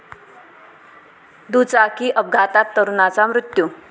दुचाकी अपघातात तरुणाचा मृत्यू